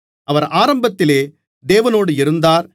அவர் ஆரம்பத்திலே தேவனோடு இருந்தார்